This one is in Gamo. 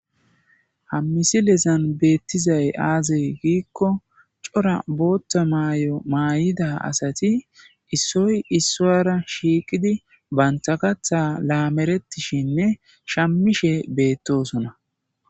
Ha misilezan beettizay azee gikko cora booththa mayo mayida asati issoy issuwara shiqi uttiddi bantta kaththa lamretishinne shamushe bettossonna